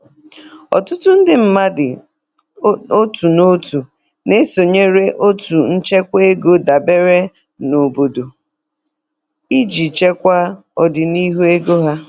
Ọtụtụ ndị mmadụ otu n'otu na-esonyere otu nchekwa ego dabere na obodo iji chekwaa ọdịnihu ego ha.